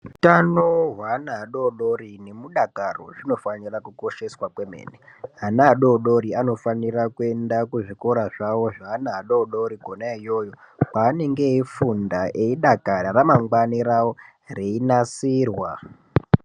Utano hwevana vadoodori nemudakaro zvinofanira kukosheswa kwemene ana adoodori anofanira kuenda kuzvikora zvavo zveana adoodori kona yoyo kwaanenge eifunda eidakara ramangwani ravo reinasirwa.